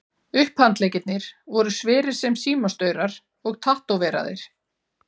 Upphandleggirnir voru sverir sem símastaurar og tattóveraðir.